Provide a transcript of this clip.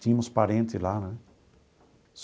Tínhamos parente lá né.